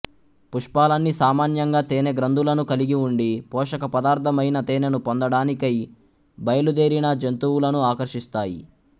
పుష్పాలన్నీ సామాన్యంగా తేనే గ్రంధులను కలిగి ఉండి పోషక పదార్ధమైన తేనెను పొందడాని కై బయలుదేరిన జంతువులను ఆకర్షిస్తాయి